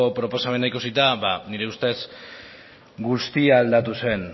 proposamena ikusita ba nire ustez guztia aldatu zen